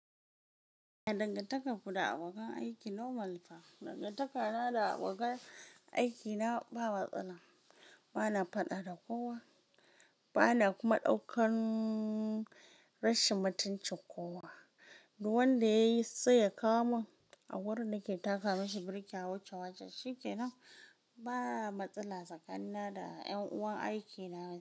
Ya dangantakar ku da abokan aiki normal fa. Dangantaka na abokan aikina ba matsala. Bana faɗa da kowa, bana kuma ɗaukan rashin mutunci kowa. Duk wanda yayi sai ya kawo min a wurin neke taka mashi birki a wuce wajen. Shi kenan ba matsala tsakanina da ƴan uwan aiki na.